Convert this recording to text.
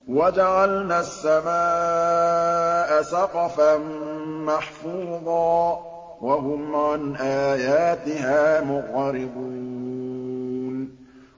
وَجَعَلْنَا السَّمَاءَ سَقْفًا مَّحْفُوظًا ۖ وَهُمْ عَنْ آيَاتِهَا مُعْرِضُونَ